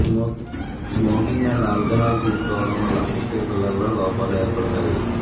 smoking and alcohol తీసుకోవడం వల్ల పుట్టే పిల్లల్లో లోపాలు ఏర్పడుతాయి